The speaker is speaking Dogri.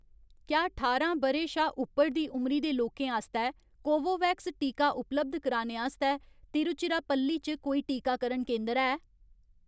क्या ठारां ब'रे शा उप्पर दी उमरी दे लोकें आस्तै कोवोवैक्स टीका उपलब्ध कराने आस्तै तिरुचिरापल्ली च कोल कोई टीकाकरण केंदर है ?